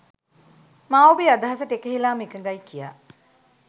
මා ඔබේ අදහසට එකහෙලාම එකඟයි කියා.